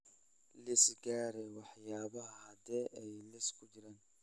liis garee waxyaabaha hadhay ee liiska ku jira